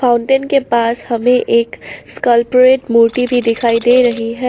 Fountain के पास हमें एक स्कालपोरेट मूर्ति भी दिखाई दे रही है।